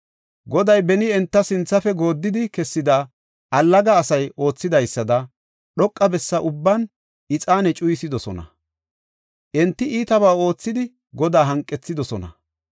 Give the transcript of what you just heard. Goday beni enta sinthafe gooddidi kessida allaga asay oothidaysada, dhoqa bessa ubban ixaane cuyisidosona. Enti iitabaa oothidi Godaa hanqethidosona.